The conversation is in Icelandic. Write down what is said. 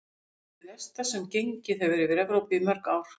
Eitt hið versta sem gengið hefur yfir Evrópu í mörg ár.